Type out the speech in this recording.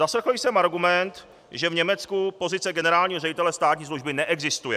Zaslechl jsem argument, že v Německu pozice generálního ředitele státní služby neexistuje.